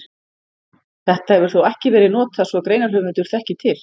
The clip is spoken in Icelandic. Þetta hefur þó ekki verið notað svo greinarhöfundur þekki til.